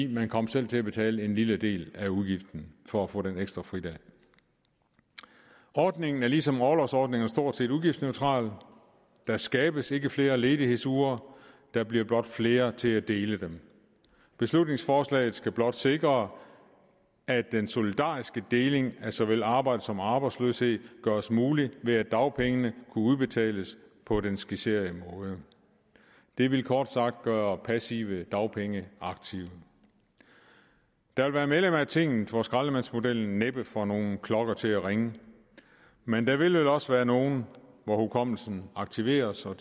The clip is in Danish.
man kom selv til at betale en lille del af udgiften for at få den ekstra fridag ordningen er ligesom orlovsordningerne stort set udgiftsneutral der skabes ikke flere ledighedsuger der bliver blot flere til at dele dem beslutningsforslaget skal blot sikre at den solidariske deling af såvel arbejde som arbejdsløshed gøres mulig ved at dagpengene kan udbetales på den skitserede måde det vil kort sagt gøre passive dagpenge aktive der vil være medlemmer af tinget for hvem skraldemandsmodellen næppe får nogen klokker til at ringe men der vil vel også være nogle hvor hukommelsen aktiveres og